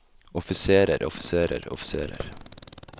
offiserer offiserer offiserer